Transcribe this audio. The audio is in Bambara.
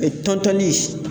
tɔntɔnni